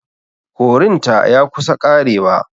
Korin ta ya kusa ƙarewa.